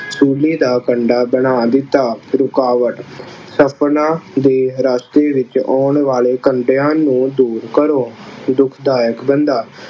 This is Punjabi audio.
ਸੂਲੇ ਦਾ ਕੰਡਾ ਬਣਾ ਦਿੱਤਾ। ਰੁਕਾਵਟ ਸਪਨਾ ਦੇ ਰਸਤੇ ਵਿੱਚ ਆਉਣ ਵਾਲੇ ਕੰਡਿਆਂ ਨੂੰ ਦੂਰ ਕਰੋ। ਦੁੱਖਦਾਇਕ ਕੰਡਾ